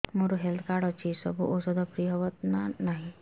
ମୋର health card ଅଛି ସବୁ ଔଷଧ ଫ୍ରି ହବ ନା ନାହିଁ